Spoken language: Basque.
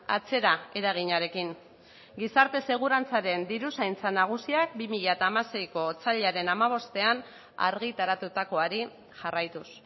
atzera eraginarekin gizarte segurantzaren diruzaintza nagusiak bi mila hamaseiko otsailaren hamabostean argitaratutakoari jarraituz